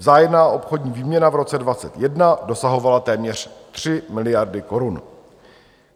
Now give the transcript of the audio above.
Vzájemná obchodní výměna v roce 2021 dosahovala téměř 3 miliardy korun.